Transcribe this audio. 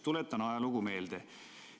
Tuletan ajalugu meelde.